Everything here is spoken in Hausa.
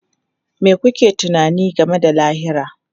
Me kuke tunani game da lahira?